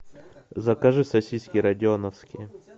закажи сосиски родионовские